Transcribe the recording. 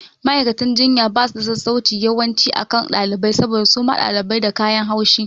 Ma'aikatan jinya basu da sassauci yawanci akan ɗalibai saboda suma ɗalibai da kayan haushi